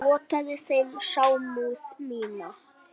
Ég vottaði þeim samúð mína.